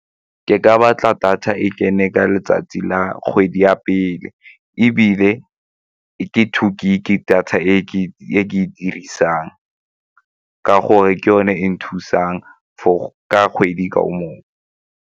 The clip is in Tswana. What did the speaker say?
Ke ka batla data e kene ka letsatsi la kgwedi ya pele ebile ke two gig-e data e ke e dirisang ka gore ke yone e nthusang for ka kgwedi ka moka.